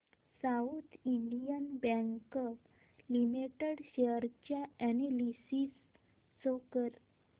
south Indian Bank limited share analysis show कर